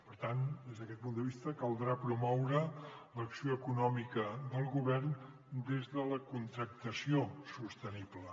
per tant des d’aquest punt de vista caldrà promoure l’acció econòmica del go·vern des de la contractació sostenible